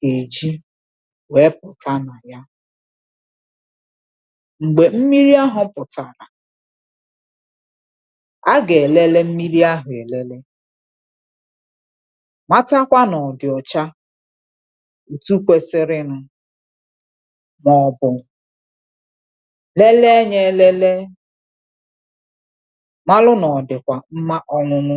kà èji wèe pụ̀ta nà ya. M̀gbè mmiri ahụ̇ pụ̀tàrà a gà-èlele mmiri ahụ̀ èlele màtakwa nà ọ̀dị̀ ọcha ùtu kwesiri nụ̇ màọ̀bụ̀ lelee yȧ elelee malụ nà ọ̀dị̀kwà mma ọṅụṅụ.